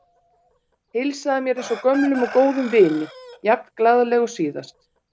Heilsaði mér eins og gömlum og góðum vini, jafn glaðleg og síðast.